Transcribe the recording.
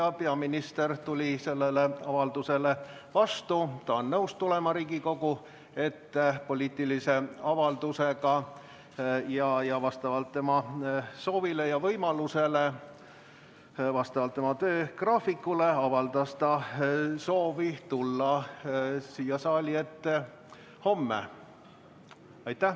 Peaminister tuli sellele avaldusele vastu, ta on nõus tulema Riigikogu ette poliitilise avaldusega ja vastavalt oma soovile ja võimalusele, vastavalt oma töögraafikule avaldas ta soovi tulla siia saali ette homme.